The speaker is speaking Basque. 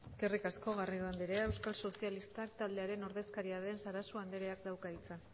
eskerrik asko garrido andrea euskal sozialista taldearen ordezkaria den sarasua andreak dauka hitza